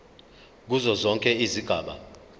kuzo zonke izigaba